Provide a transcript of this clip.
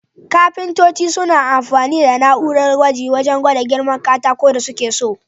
Kafintoci suna amfani da na'urar gwaji wajan gwada girman katakun da suke so.